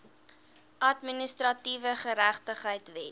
administratiewe geregtigheid wet